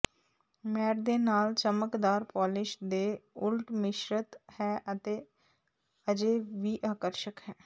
mat ਦੇ ਨਾਲ ਚਮਕਦਾਰ ਪੋਲਿਸ਼ ਦੇ ਉਲਟ ਮਿਸ਼ਰਤ ਹੈ ਅਤੇ ਅਜੇ ਵੀ ਆਕਰਸ਼ਕ ਹੈ